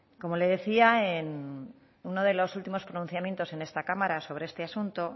como le decía en uno de los últimos pronunciamientos en esta cámara sobre este asunto